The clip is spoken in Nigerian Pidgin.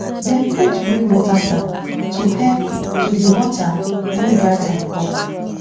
dem put rainwater tank to help to dey water when dry time come